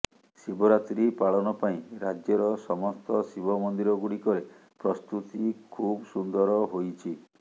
ଶିବରାତ୍ରି ପାଳନ ପାଇଁ ରାଜ୍ୟର ସମସ୍ତ ଶିବ ମନ୍ଦିିରଗୁଡ଼ିକରେ ପ୍ରସ୍ତୁତି ଖୁବ ସୁନ୍ଦର ହୋଇଛି